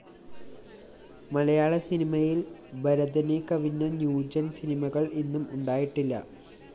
മലയാള സിനിമയില്‍ ഭരതനെ കവിഞ്ഞ ന്യൂജന്‍ സിനിമകള്‍ ഇന്നും ഉണ്ടായിട്ടില്ല